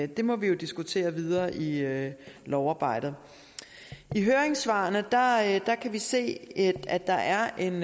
det må vi jo diskutere videre i lovarbejdet i høringssvarene kan vi se at der er en